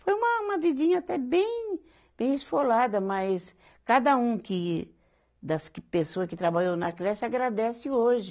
Foi uma, uma vidinha até bem, bem esfolada, mas cada um que das que pessoa que trabalhou na creche agradece hoje.